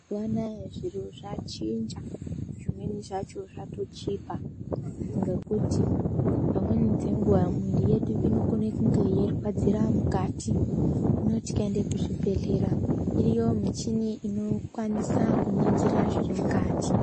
Mazuva anaya zviro zvachinja. Zvimweni zvacho zvatochipa ngekuti pamweni dzenguwa miviri yedu inokone kunge yeirwadzira mukati. Hino tikaende kuzvibhedhlera, iriyo michini inokwanisa kuningira zviri mukati.